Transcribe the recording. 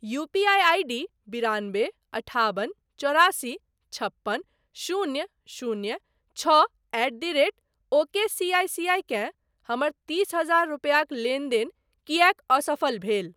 UPI ID बिरानबे अठाबन चौरासी छप्पन शून्य शून्य छओ एट द रेट ओकेसीआईसीआई केँ हमर तीस हजार रूपैयाक लेनदेन किएक असफल भेल?